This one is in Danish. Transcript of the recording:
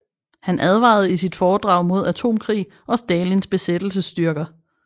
Han advarede i sit foredrag mod atomkrig og Stalins besættelsesstyrker